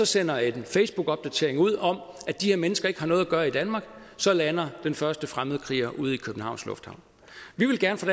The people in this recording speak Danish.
sender en facebookopdatering ud om at de her mennesker ikke har noget at gøre i danmark så lander den første fremmedkriger ude i københavns lufthavn vi vil gerne fra